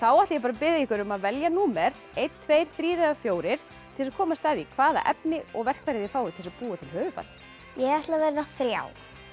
þá ætla ég að biðja ykkur um að velja númer eins tveggja þremur eða fjórum til að komast að því hvaða efni og verkfæri þið fáið til þess að búa til höfuðfat ég ætla að velja þriðja